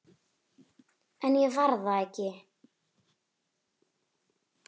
En ég var það ekki.